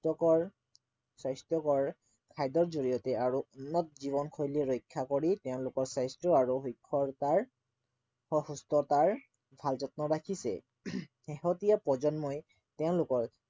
স্বাস্থ্য়কৰ স্বাস্থ্য়কৰ খাদ্য়ৰ জৰিয়তে আৰু উন্নত জীৱনশৈলী ৰক্ষা কৰি তেওঁলোকৰ স্বাস্থ্য় আৰু সুস্থতাৰ ভাল যত্ন ৰাখিছে শেহতীয়া প্ৰজন্মই তেওঁলোকৰ